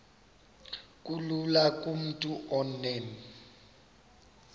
kulula kumntu onen